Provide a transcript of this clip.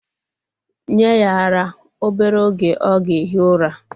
Nye ya ara! Obere oge o ga-ehi ura.